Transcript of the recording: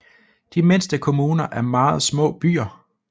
De mindste kommuner er meget små byer